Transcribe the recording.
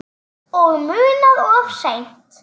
Og munað of seint.